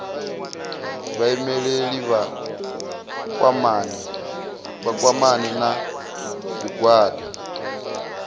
vhaimeleli vha kwamane na zwigwada